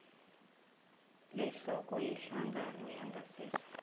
lehloko yehlangano yangasese